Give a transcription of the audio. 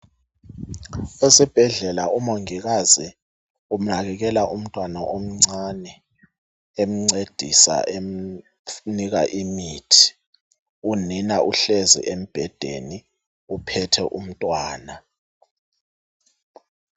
Esibhedlela umongikazi unakekela umntwana omcane emncedisa emnika imithi. Unina uhlezi embhedeni uphethe umntwana.